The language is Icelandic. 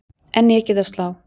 Enn ekið á slá